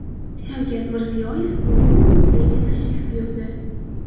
Shavkat Mirziyoyev Luvr muzeyiga tashrif buyurdi.